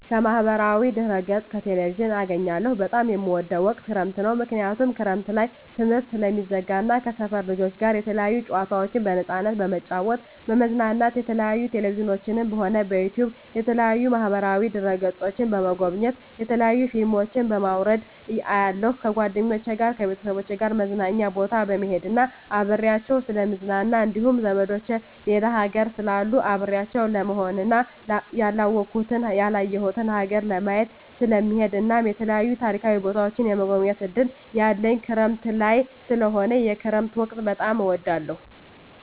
ከማህበራዊ ድህረገፅ ከቴሌቪዥን አገኛለሁ በጣም የምወደዉ ወቅት ክረምት ነዉ ምክንያቱም ክረምት ላይ ትምህርት ስለሚዘጋ እና ከሰፈር ልጆች ጋር የተለያዩ ጨዋታዎችን በነፃነት በመጫወት በመዝናናት የተለያዩ በቴሌቪዥንም ሆነ በዩቱዩብ በተለያዩ ማህበራዋ ድህረ ገፆችን በመጎብኘት የተለያዩ ፊልሞችን በማዉረድ አያለሁ ከጓደኞቸ ጋር ከቤተሰቦቸ ጋር መዝናኛ ቦታ በመሄድና አብሬያቸዉ ስለምዝናና እንዲሁም ዘመዶቸ ሌላ ሀገር ስላሉ አብሬያቸው ለመሆንና ያላወኩትን ያላየሁትን ሀገር ለማየት ስለምሄድ እናም የተለያዩ ታሪካዊ ቦታዎችን የመጎብኘት እድል ያለኝ ክረምት ላይ ስለሆነ የክረምት ወቅት በጣም እወዳለሁ